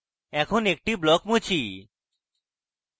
এখন একটি block মুছি